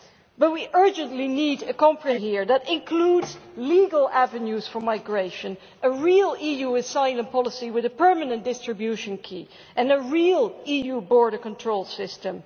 But we urgently need a comprehensive policy here that includes legal avenues for migration, a real EU asylum policy with a permanent distribution key and a real EU border control system.